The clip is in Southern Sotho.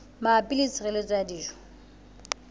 mabapi le tshireletso ya dijo